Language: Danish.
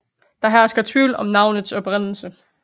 Der hersker tvivl om navnets oprindelse